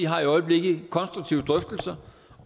har i øjeblikket en konstruktiv drøftelse